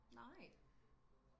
nej